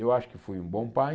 Eu acho que fui um bom pai.